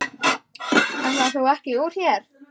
Ætlaðir þú ekki úr hér?